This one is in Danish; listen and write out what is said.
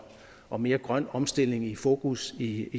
og mere grøn omstilling i fokus i